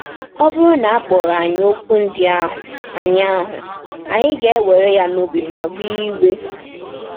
Ọ bụrụ na a kpọrọ anyị okwu ndị ahụ, anyị ahụ, anyị ga-ewere ya n’obi ma nwee iwe.